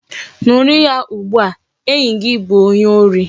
Nuru ya ugbua! enyi gi bu onye ori